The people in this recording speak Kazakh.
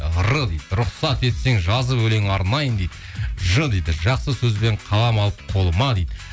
р дейді рұқсат етсең жазып өлең арнайын дейді ж дейді жақсы сөзбен қалап алып қолыма дейді